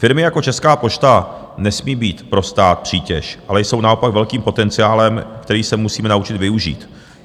Firmy jako Česká pošta nesmí být pro stát přítěž, ale jsou naopak velkým potenciálem, který se musíme naučit využít.